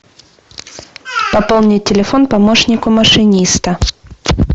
пополни телефон помощнику машиниста